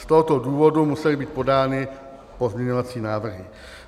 Z tohoto důvodu musely být podány pozměňovací návrhy.